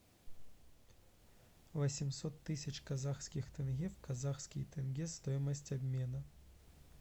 восемьсот тысяч казахских тенге в казахские тенге стоимость обмена